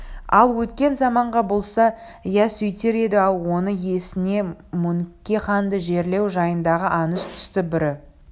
ал өткен заман болса иә сөйтер еді-ау оның есіне мөңке ханды жерлеу жайындағы аңыз түсті бірі